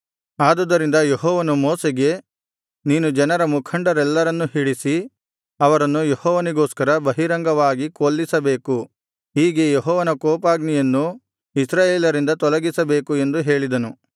ಆದುದರಿಂದ ಯೆಹೋವನು ಮೋಶೆಗೆ ನೀನು ಜನರ ಮುಖಂಡರೆಲ್ಲರನ್ನೂ ಹಿಡಿಸಿ ಅವರನ್ನು ಯೆಹೋವನಿಗೋಸ್ಕರ ಬಹಿರಂಗವಾಗಿ ಕೊಲ್ಲಿಸಬೇಕು ಹೀಗೆ ಯೆಹೋವನ ಕೋಪಾಗ್ನಿಯನ್ನು ಇಸ್ರಾಯೇಲರಿಂದ ತೊಲಗಿಸಬೇಕು ಎಂದು ಹೇಳಿದನು